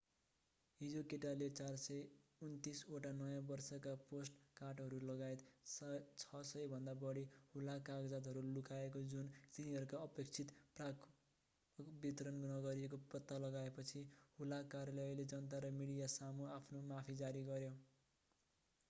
हिजो केटाले 429 ओटा नयाँ वर्षका पोस्टकार्टहरू लगायत 600 भन्दा बढी हुलाक कागजातहरू लुकाएको जुन तिनीहरूका अपेक्षित प्रापकहरूमा वितरण नगरिएको पत्ता लगाएपछि हुलाक कार्यालयले जनता र मिडियासामु आफ्नो माफी जारी गर्‍यो।